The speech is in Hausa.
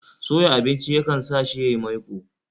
Soya abinci ya kan sa shi yayi maiko